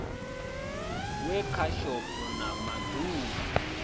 wekhishopho na ma ḓ uvha